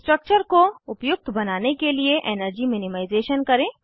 structure को उपयुक्त बनाने के लिए एनर्जी मिनिमाइज़ेशन करें